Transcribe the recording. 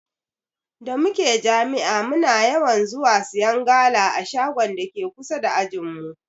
Da muke jami'a muna yawan zuwa siyan gala a shagon dake kusa da ajinmu.